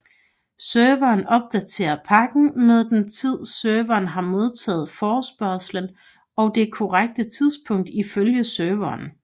Serveren opdaterer pakken med den tid serveren har modtaget forespørgslen og det korrekte tidspunkt ifølge serveren